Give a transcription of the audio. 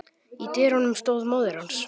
Í dyrunum stóð móðir hans.